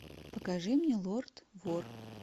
покажи мне лорд вор